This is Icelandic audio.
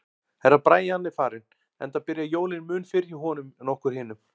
Herra Brian er farinn, enda byrja jólin mun fyrr hjá honum en okkur hinum.